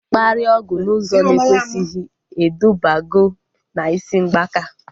Mkparịa ọgwụ n'ụzọ na ekwesighi edubago na isi mgbaka